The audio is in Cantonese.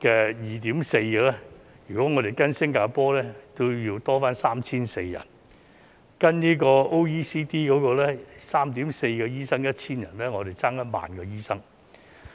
的比例是 2.4 個，如果我們要跟上新加坡，便要再多 3,400 個醫生；如果要符合 OECD 每 1,000 人有 3.4 個醫生的水平，我們便欠缺1萬個醫生。